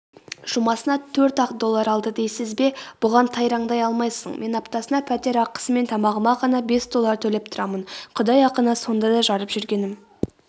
жұмасына төрт-ақ доллар алды дейсіз бе бұған тайраңдай алмайсың мен аптасына пәтер ақысы мен тамағыма ғана бес доллар төлеп тұрамын құдай ақына сонда да жарып жүргенім